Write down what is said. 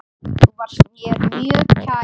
Þú varst mér mjög kær.